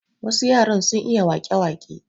Wasu yaran sun iya wake wake.